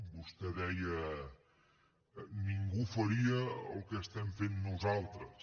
vostè deia ningú faria el que estem fent nosaltres